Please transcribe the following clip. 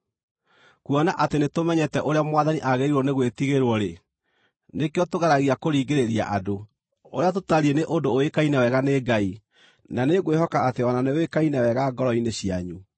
Kuona atĩ nĩtũmenyete ũrĩa Mwathani aagĩrĩirwo nĩ gwĩtigĩrwo-rĩ, nĩkĩo tũgeragia kũringĩrĩria andũ. Ũrĩa tũtariĩ nĩ ũndũ ũĩkaine wega nĩ Ngai, na nĩngwĩhoka atĩ o na nĩũĩkaine wega ngoro-inĩ cianyu.